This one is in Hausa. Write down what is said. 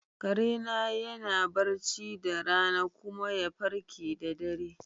Kare na yana barci da rana kuma ya farke da dare.